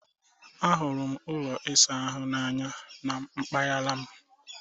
Ahụrụ m ụlọ ịsa ahụ n'anya na mpaghara m